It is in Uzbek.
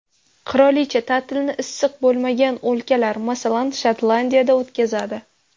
Qirolicha ta’tilni issiq bo‘lmagan o‘lkalar, masalan, Shotlandiyada o‘tkazadi.